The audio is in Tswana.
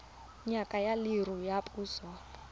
ngaka ya leruo ya puso